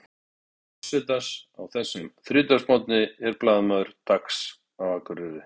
Næsti viðmælandi forsetans á þessum þriðjudagsmorgni er blaðamaður Dags á Akureyri.